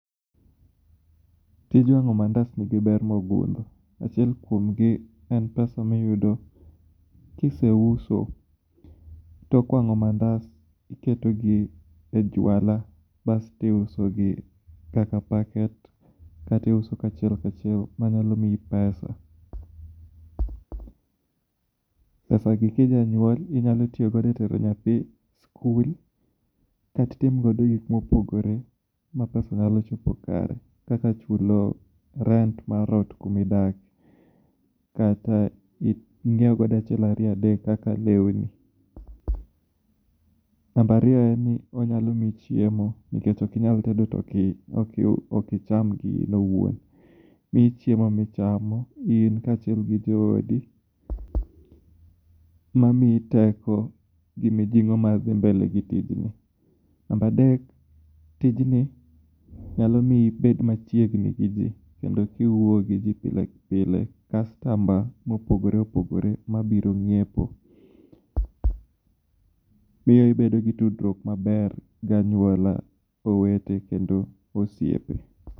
Tij wango mandas ni gi ber ma ogundho a chiel kuom gi en pesa ma iyudo kiseuso tok wango mandas i keto gi e jwala bas to iuso gi kaka packet kata iuso ka chiek ka chiel ma nyalo miyi pesa pesa gi ka inyalo nyuol inyalo tigo e tero nyathi e school kata itim godo gik ma opogore ma pesa nyalo chopo kare kaka chulo rent mar ot kuma idakie kata ngiewo go achiel ariyo adek kaka lewuni nambariyo en ni onyalo miyi chiemo nikech ok inyal tedo to ok icham gi owuon miyi chiemo ma ichamo in kod jo odi ma miyi teko gi mi jingo mar dhi mbele gi tijni number adek tijni nyalo miyo ibed ma chiegni gi ji kendo ka iwuoyo gi ji pilepile customer ma opogore opogore ma biro nyiepo miyo i bedo gi tudruok maber gi anyuola owete kendo osiepe